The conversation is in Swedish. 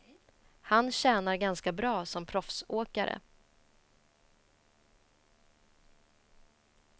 Han tjänar ganska bra som proffsåkare.